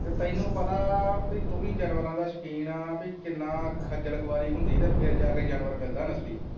ਤੇ ਤੈਨੂੰ ਪਤਾ ਕਿ ਤੁਵੀਂ ਜਾਨਵਰਾਂ ਦਾ ਸ਼ੋਕੀਨ ਭਈ ਕਿੰਨਾ ਖੱਜ਼ਲ ਖਵਾਰੀ ਹੁੰਦੀ ਤੇ ਫਿਰ ਜਾ ਕੇ ਜਾਨਵਰ ਮਿਲਦਾ ਨਸਲੀ।